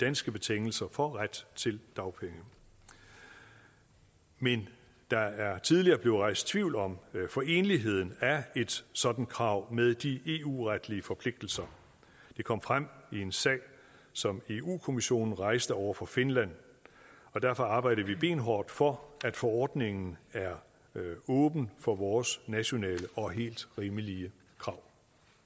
danske betingelser for ret til dagpenge men der er tidligere blevet rejst tvivl om foreneligheden af et sådant krav med de eu retlige forpligtelser det kom frem i en sag som europa kommissionen rejste over for finland og derfor arbejder vi benhårdt for at forordningen er åben for vores nationale og helt rimelige krav